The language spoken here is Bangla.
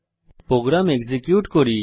প্রোগ্রাম এক্সিকিউট করি